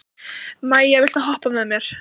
Maia, viltu hoppa með mér?